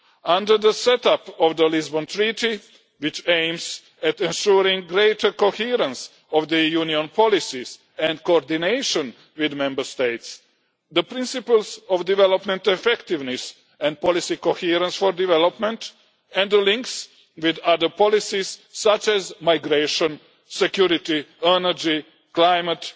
Under the setup of the Lisbon Treaty, which aims at ensuring greater coherence of the Union's policies and coordination with Member States, the principles of development effectiveness and policy coherence for development and the links with other policies, such as migration, security, energy, climate,